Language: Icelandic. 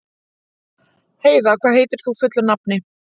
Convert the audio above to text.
Heida, hvað heitir þú fullu nafni?